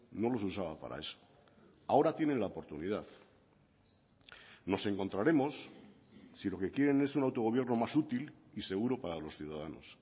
no los usaba para eso ahora tiene la oportunidad nos encontraremos si lo que quieren es un autogobierno más útil y seguro para los ciudadanos